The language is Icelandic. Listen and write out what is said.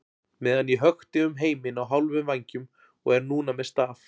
meðan ég hökti um heiminn á hálfum vængjum og er núna með staf.